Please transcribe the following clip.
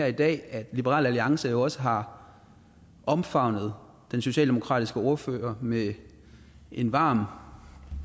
i dag at liberal alliance også har omfavnet den socialdemokratiske ordfører med en varm